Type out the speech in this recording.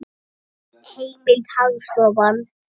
Heimild: Hagstofan.